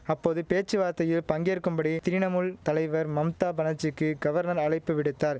அப்போது பேச்சுவார்த்தையில் பங்கேற்கும்படி திரிணமுல் தலைவர் மம்தா பனர்ஜிக்கீ கவர்னர் அழைப்பு விடுத்தார்